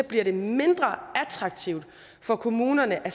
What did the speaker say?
bliver det mindre attraktivt for kommunerne at